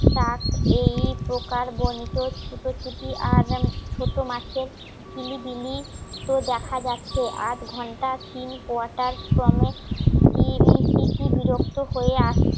তাক এই প্রকার বর্ণিত ছুটোছুটি আজ আমি ছোট মাছের কিলিবিলি তো দেখা যাচ্ছে আধ ঘণ্টা তিন কোয়াটার ক্রমে বিরক্ত হয়ে আসছি